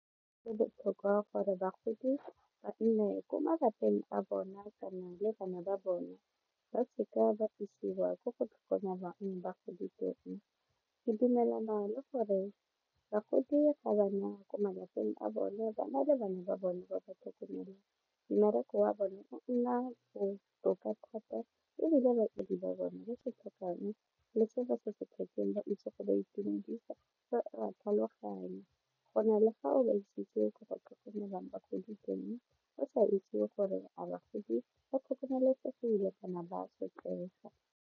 Botlhokwa gore bagodi ba nne ko malapeng a bona kana le bana ba bona ba se ka ba isiwa kwa go tlhokomela bagodi teng, ke dumelana le gore bagodi ga ba nna kwa malapeng a bone ba na le bana ba bone ba ba mmereko wa bone o nna botoka thata ebile batsadi ba bona ba itse go tlhaloganya go na le fa o ba itsise ko go tlhokomelwang bagodi teng o sa itse gore a bagodi ba tlhokomelesegile kana ba sotlega.